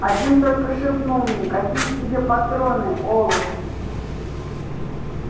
один только шепнул мне какие тебе патроны олух